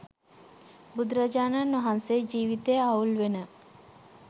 බුදුරජාණන් වහන්සේ ජීවිතය අවුල් වෙන